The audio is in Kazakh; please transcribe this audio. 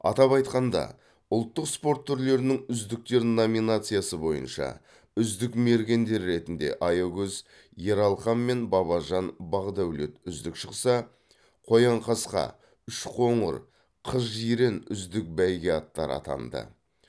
атап айтқанда ұлттық спорт түрлерінің үздіктер номинациясы бойынша үздік мергендер ретінде айкөз ералхан мен бабажан бақдәулет үздік шықса қоянқасқа үшқоңыр қызжирен үздік бәйге аттары атанды